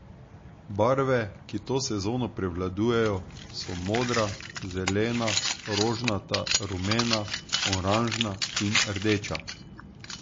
Barve, ki to sezono prevladujejo, so modra, zelena, rožnata, rumena, oranžna in rdeča.